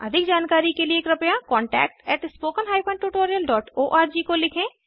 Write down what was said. अधिक जानकारी के लिए कृपया contactspoken tutorialorg को लिखें